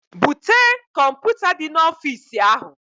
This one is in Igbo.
Bute kọmputa di na ofis ahu